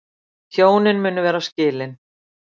Hjónin munu vera skilin